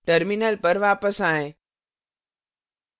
terminal पर वापस आएँ